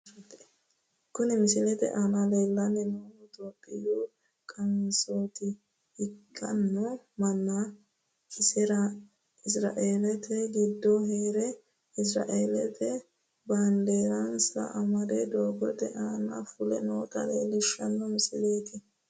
Kuni misilete aana leellanni noohu topiyu qansoota ikkino manni isiraeelete giddo heere isiraeelenniha baandeerase amade doogote aana fule noota leellishshanno misileeti.